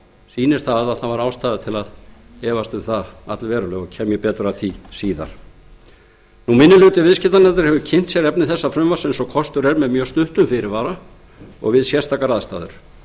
sýnir að það var ástæða til að efast um það allverulega og kem ég betur að því síðar minni hluti viðskiptanefndar hefur kynnt sér efni þessa frumvarps eins og kostur er með mjög stuttum fyrirvara og við sérstakar aðstæður